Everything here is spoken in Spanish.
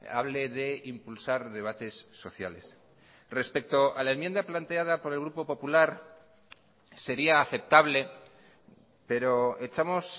hable de impulsar debates sociales respecto a la enmienda planteada por el grupo popular sería aceptable pero echamos